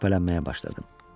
Şübhələnməyə başladım.